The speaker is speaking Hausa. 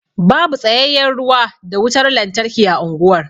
Babu tsayayyen ruwa da wutar lantarki a unguwar.